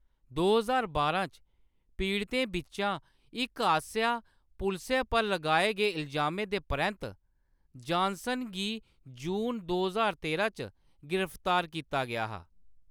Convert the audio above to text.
दो ज्हार बारां च पीड़तें बिच्चा इक आसेआ पुलसै पर लगाए गे इलजामें दे परैंत्त जानसन गी जून दो ज्हार तेरां च गिरफ्तार कीता गेआ हा।